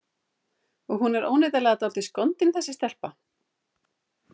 Og hún er óneitanlega dálítið skondin, þessi stelpa.